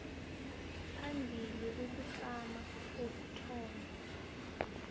phambili ukutlama kokuthonywa